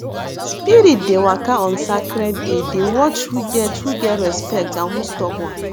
spirit dey waka on sacred day dey watch who get who get respect and who stubborn